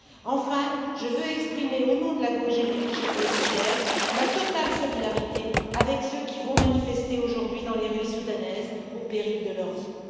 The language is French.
Enfin, je veux exprimer, au nom de la GUE NGL, ma totale solidarité avec ceux qui vont manifester aujourd'hui dans les rues soudanaises au péril de leur vie.